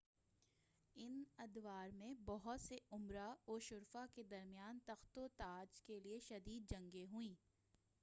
ان ادوار میں بہت سے امراء و شرفاء کے درمیان تخت و تاج کے لئے شدید جنگیں ہوئیں